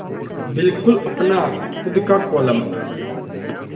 बिल्कुल अपना खु़द का कोलम